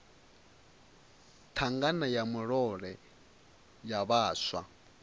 thangana ya murole ya vhaswa